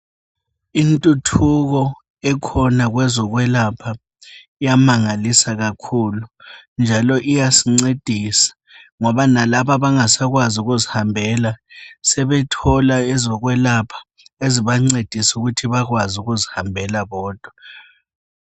Intuthuko ekhona kwezokwelapha iyamangakisa kakhulu njalo iyasingcedisa ngoba lalabo abangasakwazi ukuzihambela sebethola ezokuyelapha ezibangcedisa ukuthi bekwanise ukuzi hambela bodwa